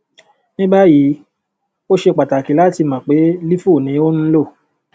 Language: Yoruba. ni báyìí ó ṣe pàtàkì láti mọ pé lifo ni ò ń lò